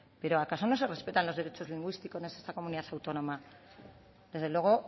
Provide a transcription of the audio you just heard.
pero acaso no se respetan los derechos lingüísticos en esta comunidad autónoma desde luego